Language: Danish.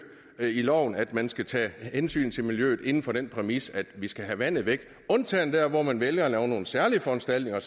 loven at man skal tage hensyn til miljøet inden for den præmis at vi skal have vandet væk undtagen der hvor man vælger at lave nogle særlige foranstaltninger